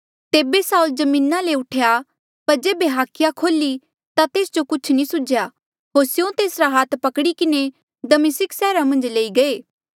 तेबे साऊल जमीना ले उठेया पर जेबे हाखिया खोल्ही ता तेस जो कुछ नी सुझ्या होर स्यों तेसरा हाथ पकड़ी किन्हें दमिस्का सैहरा मन्झा ले लई गये